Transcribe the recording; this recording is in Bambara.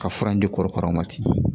Ka fura in di kɔrɔkaraw ma ten